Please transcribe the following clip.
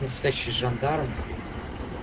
настоящий жандарм